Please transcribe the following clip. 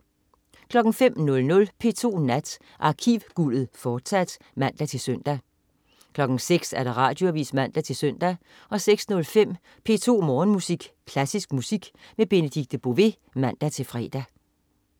05.00 P2 Nat. Arkivguldet, fortsat (man-søn) 06.00 Radioavis (man-søn) 06.05 P2 Morgenmusik. Klassisk musik med Benedikte Bové (man-fre)